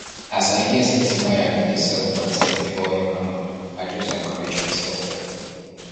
as i hear sey timaya bin dey sell plantain before im hama i just encourage myself